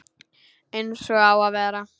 Eins og á að vera.